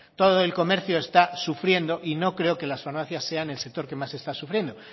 todo el comercio está sufriendo y no creo que las farmacias sean el sector que más está sufriendo